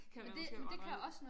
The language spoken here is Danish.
Kan du måske godt regne ud